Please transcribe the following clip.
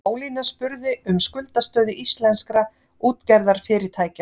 Ólína spurði um skuldastöðu íslenskra útgerðarfyrirtækja